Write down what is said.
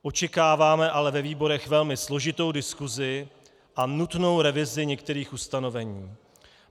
Očekáváme ale ve výborech velmi složitou diskusi a nutnou revizi některých ustanovení.